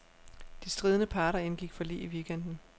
De stridende parter indgik forlig i weekenden.